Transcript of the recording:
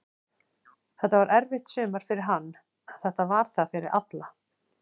Þetta var erfitt sumar fyrir hann, en þetta var það fyrir alla.